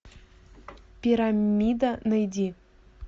пирамида найди